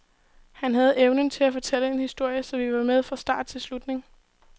Han havde evnen til at fortælle en historie, så vi var med fra start til slutning.